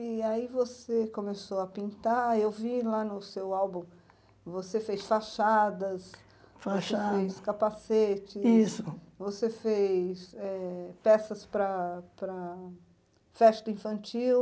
E aí você começou a pintar, eu vi lá no seu álbum, você fez fachadas, Fachadas você fez capacetes, Isso você fez peças para para festa infantil.